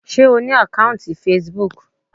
Sé O ní àkọ́ùntì Facebook.